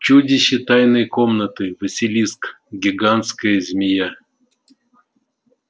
чудище тайной комнаты василиск гигантская змея